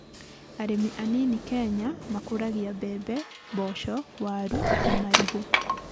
Arĩmi anini Kenya makũragia mbembe, mboco, waru na marigo